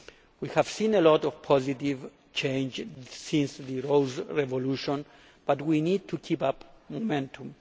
We have seen a lot of positive changes since the Rose Revolution but we need to keep up momentum.